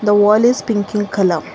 a wall is pink in colour.